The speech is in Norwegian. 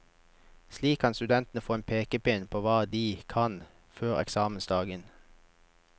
Slik kan studentene få en pekepinn på hva de kan, før eksamensdagen.